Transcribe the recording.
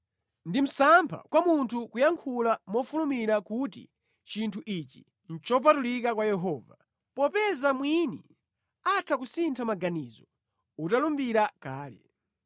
Ndi msampha kwa munthu kuyankhula mofulumira kuti “Chinthu ichi nʼchopatulika kwa Yehova,” popeza mwina atha kusintha maganizo utalumbira kale.